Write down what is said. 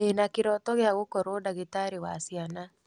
Ndĩna kĩrooto gĩa gũkorwo ndagĩtarĩ wa ciana.